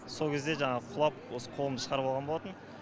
сол кезде жаңағы құлап осы қолымды шығарып алған болатынмын